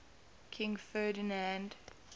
king ferdinand